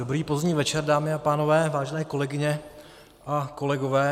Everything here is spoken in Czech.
Dobrý pozdní večer, dámy a pánové, vážené kolegyně a kolegové.